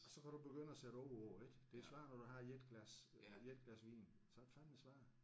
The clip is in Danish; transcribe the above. Og så kan du begynde at sætte ord på det ik. Det er svært når du har 1 glas øh 1 glas vin så er det fandeme svært